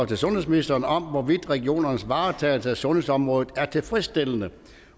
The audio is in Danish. til sundhedsministeren om hvorvidt regionernes varetagelse af sundhedsområdet er tilfredsstillende